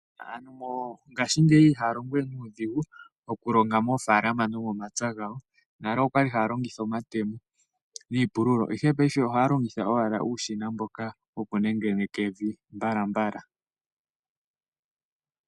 Aantu ngaashingeyi ihaa longo we nuudhigu okulonga moofaalama nomomapya gawo, nale okwali haa longitha omatemo niipululo ihe paife ohaa longitha owala uushina mboka woku nengeneka evi mbalambala.